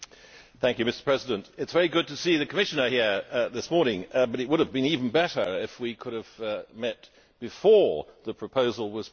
Mr President, it is very good to see the Commissioner here this morning, but it would have been even better if we could have met before the proposal was put.